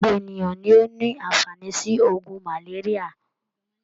Gbogbo ènìyàn ni o ní àǹfàání si ògùn malaria.